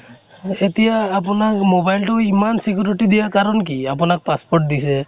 এতিয়া আপোনাৰ mobile তো ইমান security দিয়া কাৰণ কি, আপোনাক passport দিছে ।